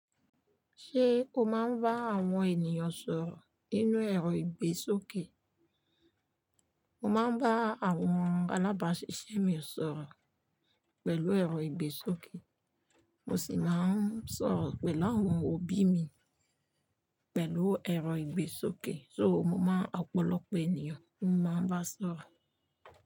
Ṣé o máa ń bá àwọn ènìyàn sọ̀rọ̀ ninú ẹ̀rọ ìgbésókè? Mo máa ń bá àwọn alábàáṣiṣé mi sọ̀rọ̀ pẹ̀lú ẹ̀rọ ìgbésókè, mo sì máa ń sọ̀rọ̀ pẹ̀lú àwọn òbí mi pẹ̀lú ẹ̀rọ ìgbésókè. So mo máa ń ọ́pọ̀lọpọ̀ ènìyàn ni mo máa ń bá sọ̀rọ̀